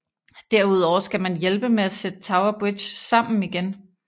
Derudover skal man hjælpe med at sætte Tower Bridge sammen igen